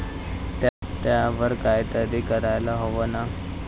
त्यावर काहीतरी करायला हवं ना?